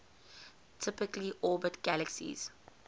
typically orbit galaxies